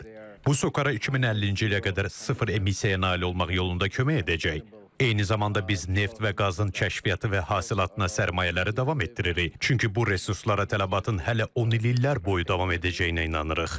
Bu SOCAR-a 2050-ci ilə qədər sıfır emmisiyaya nail olmaq yolunda kömək edəcək, eyni zamanda biz neft və qazın kəşfiyyatı və hasilatına sərmayələri davam etdiririk, çünki bu resurslara tələbatın hələ 10 illər boyu davam edəcəyinə inanırıq.